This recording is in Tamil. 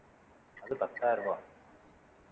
அது பத்தாயிரம் ரூபாய்